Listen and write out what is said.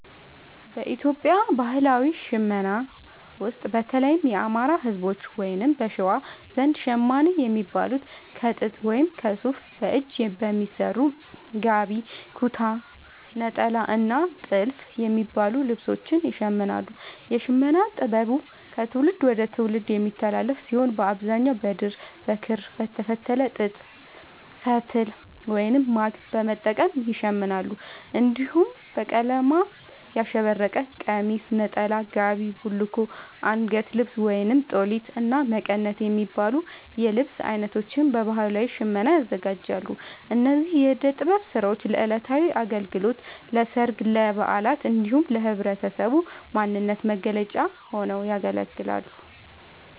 በኢትዮጵያ ባህላዊ ሽመና ውስጥ፣ በተለይም የአማራ፣ ህዝቦች(በሸዋ) ዘንድ ‘ሸማኔ’ የሚባሉት ከጥጥ ወይም ከሱፍ በእጅ በሚሰሩ ‘ጋቢ’፣ ‘ኩታ’፣ ‘ኔጣላ’ እና ‘ቲልፍ’ የሚባሉ ልብሶችን ይሽምናሉ። የሽመና ጥበቡ ከትውልድ ወደ ትውልድ የሚተላለፍ ሲሆን፣ በአብዛኛው በድር፣ በክር፣ በተፈተለ ጥጥ ፈትል(ማግ) በመጠቀም ይሸምናሉ። እንዲሁም በቀለማት ያሸበረቀ ቀሚስ፣ ነጠላ፣ ጋቢ፣ ቡልኮ፣ አንገት ልብስ(ጦሊት)፣እና መቀነት የሚባሉ የልብስ አይነቶችን በባህላዊ ሽመና ያዘጋጃሉ። እነዚህ የእደ ጥበብ ስራዎች ለዕለታዊ አገልግሎት፣ ለሠርግ፣ ለበዓላት እንዲሁም ለህብረተሰቡ ማንነት መገለጫ ሆነው ያገለግላሉ።